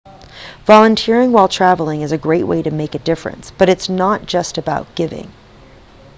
volunteering while travelling is a great way to make a difference but it's not just about giving